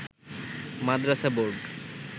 Madrasa board